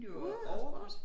Ude og sports